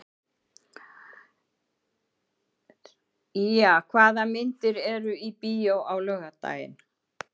Ýja, hvaða myndir eru í bíó á laugardaginn?